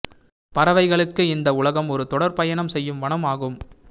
பறவைகளுக்கு இந்த உலகம் ஒரு தொடர் பயணம் செய்யும் வனம் ஆகும்